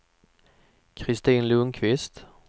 Kristin Lundkvist